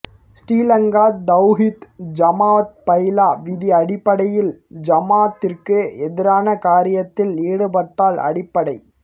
Sri Lanka Thowheed Jamath bylaw விதி அடிப்படையில் ஜமாஅத்திற்கு எதிரான காரியத்தில் ஈடுப்பாட்டால் அடிப்படை